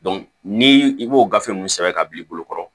ni i b'o gafe nunnu sɛbɛn ka bil'i bolo kɔrɔ